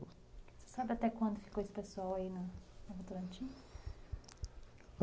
Você sabe até quando ficou esse pessoal aí na Votorantim?